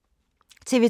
TV 2